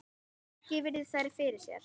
Raggi virðir þær fyrir sér.